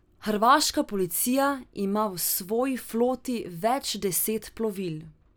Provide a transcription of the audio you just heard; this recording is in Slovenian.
Hrvaška policija ima v svoji floti več deset plovil.